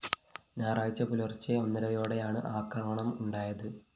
ഞായറാഴ്ച പുലർച്ചെ ഒന്നരയോടെയാണ് ആക്രമണം ഉണ്ടായത്